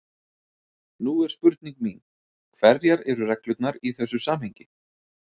Nú er spurning mín: Hverjar eru reglurnar í þessu samhengi?